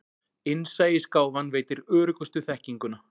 innsæisgáfan veitir öruggustu þekkinguna